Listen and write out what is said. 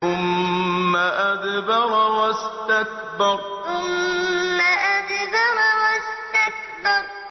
ثُمَّ أَدْبَرَ وَاسْتَكْبَرَ ثُمَّ أَدْبَرَ وَاسْتَكْبَرَ